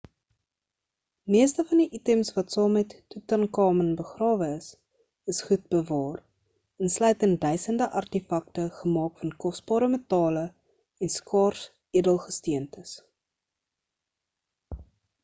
meeste van die items wat saam met tutankhamun begrawe is is goed bewaar insluitend duisende artefakte gemaak van kosbare metale en skaars edelgesteentes